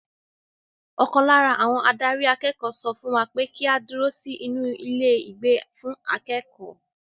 Ọkàn lára àwọn adarí akẹ́kọ̀ọ́ sọ fún wa pé kí á dúró sí inú ilé ìgbé fún akẹ́kọ̀ọ́.